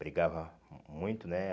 Brigava hum muito, né?